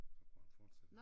Så kunne han fortsætte